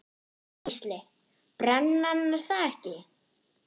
Gísli:. brennan er það ekki?